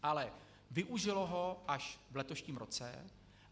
Ale využilo ho až v letošním roce.